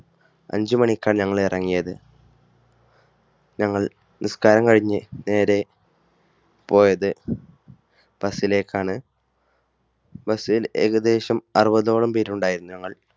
അഞ്ചുമണിക്കാണ് ഞങ്ങൾ ഇറങ്ങിയത്. ഞങ്ങൾ നിസ്കാരം കഴിഞ്ഞു നേരെ പോയത് ബസ്സിലേക്കാണ്. ബസ്സിൽ ഏകദേശം അറുപതോളം പേരുണ്ടായിരുന്നു ഞങ്ങൾ